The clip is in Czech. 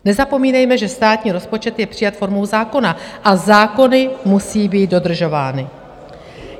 Nezapomínejme, že státní rozpočet je přijat formou zákona a zákony musí být dodržovány.